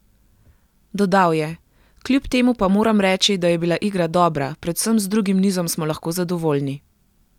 Dodal je: "Kljub temu pa moram reči, da je bila igra dobra, predvsem z drugim nizom smo lahko zadovoljni.